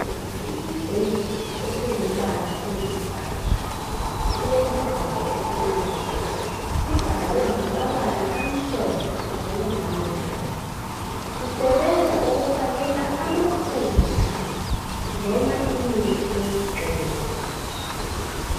Isigubhu esingumbala oyisibhakabhaka, silesivalo esimnyama. Sibhalwe ngamabala amhlophe kanye lamnyama. Sisebenza ukufakela amafutha loba imithi yokugcoba.